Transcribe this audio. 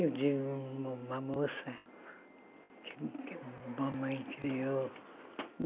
Eu tive um uma moça que que mamãe criou.